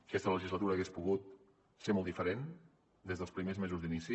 aquesta legislatura hauria pogut ser molt diferent des dels primers mesos d’inici